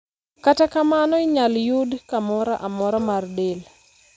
Kata kamano, inyal yude kamoro amora mar del.